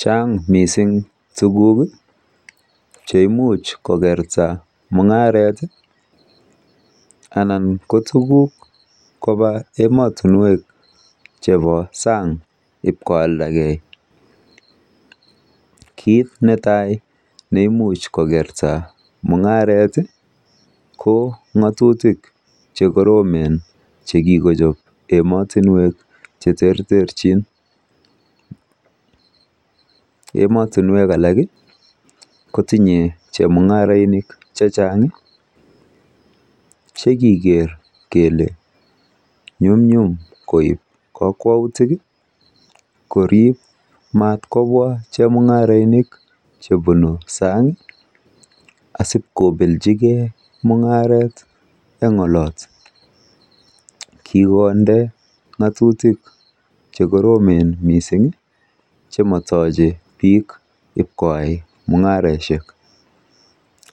Chan'g mising tuguk cheimuch kokerta mung'aret anan ko tukuk koba ematinwek chebo san'g ipkoaldagei. Kiit netai neimuch kokerta mung'aret ko ng'atutik che koromen che kikochop ematinwek cheterterchin. Ematinwek alak kotinyei chemung'arainik che chan'g che kiker kele nyumnyum koip kokwautik korip matkobwa chemung'aroinik chepunu san'g asip kopelchigei mung'are eng olot. Kikonde ng'atutik chekoromen mising chematochei biik ip koyai mung'areshek.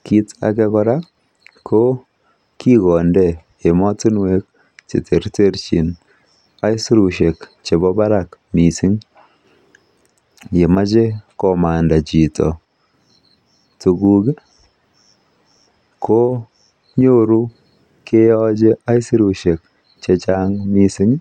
Kiit age kora ko kikonde emotinwek cheterterchi aisurushek chebo barak mising. Yemachei komanda chito tukuk ko nyoru keyochei aisurushek chechan'g.